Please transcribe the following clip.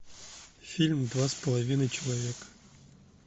фильм два с половиной человека